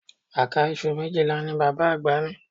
Àká iṣu méjìlá ni bàbá àgbà ní